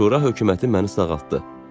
Şura hökuməti məni sağaltdı.